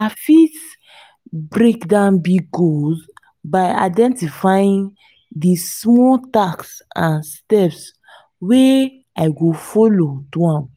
i fit break down big goals by identifying di smaller tasks and steps wey i go follow do am.